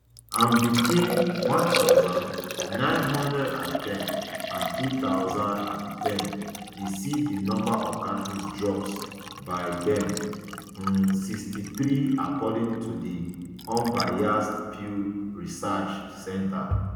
and between one thousand, nine hundred and ten and two thousand and ten e see di number of catholics drop by more dan um sixty-three according to di usbased pew research um centre